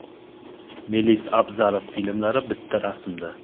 Melis Abzalov filmlari bitta rasmda.